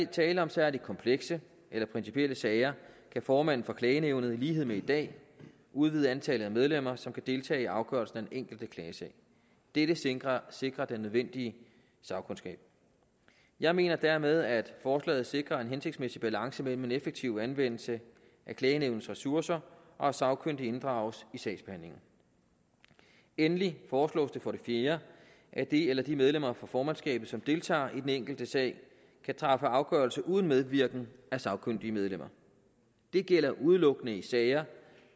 tale om særlig komplekse eller principielle sager kan formanden for klagenævnet i lighed med i dag udvide antallet af medlemmer som kan deltage i afgørelsen af den enkelte klagesag dette sikrer sikrer den nødvendige sagkundskab jeg mener dermed at forslaget sikrer en hensigtsmæssig balance mellem en effektiv anvendelse af klagenævnets ressourcer og at sagkyndige inddrages i sagsbehandlingen endelig foreslås det for det fjerde at det eller de medlemmer fra formandskabet som deltager i den enkelte sag kan træffe afgørelse uden medvirken af sagkyndige medlemmer det gælder udelukkende i sager